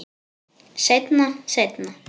Seinna, seinna.